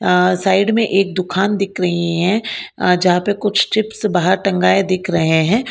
अ side में एक दुकान दिख रही है जहां पे कुछ चिप्स बाहर टंगाए हुए दिख रहे हैं।